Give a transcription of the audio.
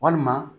Walima